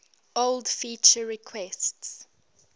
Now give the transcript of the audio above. old feature requests